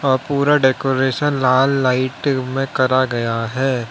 और पूरा डेकोरेशन लाल लाइट में करा गया है।